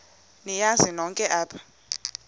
niyazi nonk apha